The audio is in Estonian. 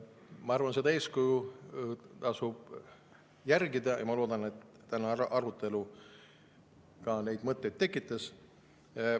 Ma arvan, et seda eeskuju tasub järgida, ja loodan, et tänane arutelu ka neid mõtteid tekitas.